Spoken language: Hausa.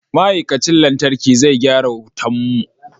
Ma'aikacin lantarki zai gyara wutan mu.